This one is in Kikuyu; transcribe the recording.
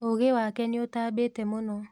ũgĩ wake nĩũtambĩte mũno